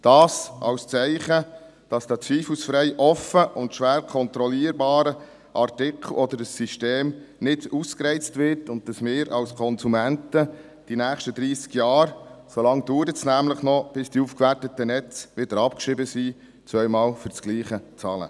Das als Zeichen, dass der zweifelsfrei offen und schwer kontrollierbare Artikel oder das System nicht ausgereizt wird und dass wir als Konsumenten die nächsten dreissig Jahre – so lange dauert es nämlich noch, bis die aufgewerteten Netze wieder abgeschrieben sind – zweimal für das Gleiche bezahlen.